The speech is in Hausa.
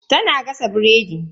Tana gasa biredi.